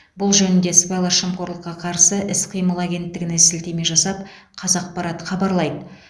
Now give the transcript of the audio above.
бұл жөнінде сыбайлас жемқорлыққа қарсы іс қимыл агенттігіне сілтеме жасап қазақпарат хабарлайды